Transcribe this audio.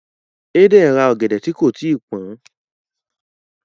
Eden rá ògèdè tí kò tíì pọn.